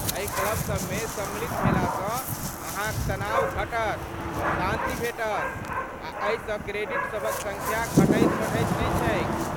एहि क्लब सबमे सम्मिलित भेलासँ अहाँक तनाव घटत, शान्ति भेटत आ एहिसँ क्रेडिट सभक सङ्ख्या घटैत बढ़ैत नहि छैक।